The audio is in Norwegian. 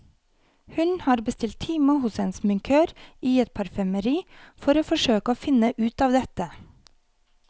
Hun har bestilt time hos en sminkør i et parfymeri, for å forsøke å finne ut av dette.